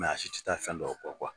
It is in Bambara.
Mɛ a si tɛ taa fɛn dɔw kɔ